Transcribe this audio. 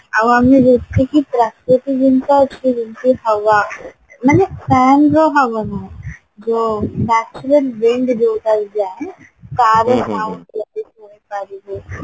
ଆଉ ଆମେ ପ୍ରତ୍ୟକ ଜିନିଷ ତାର sound ଯଦି ଶୁଣିପାରିବୁ